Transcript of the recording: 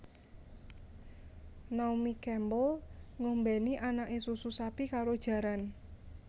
Naomi Campbell ngombeni anake susu sapi karo jaran